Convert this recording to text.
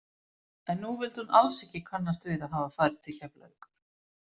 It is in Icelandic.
En nú vildi hún alls ekki kannast við að hafa farið til Keflavíkur.